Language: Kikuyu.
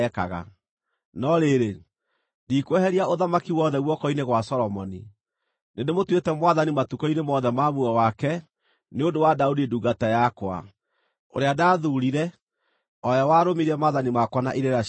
“ ‘No rĩrĩ, ndikweheria ũthamaki wothe guoko-inĩ gwa Solomoni; nĩndĩmũtuĩte mwathani matukũ-inĩ mothe ma muoyo wake, nĩ ũndũ wa Daudi ndungata yakwa, ũrĩa ndathuurire o we warũmirie maathani makwa na irĩra ciakwa.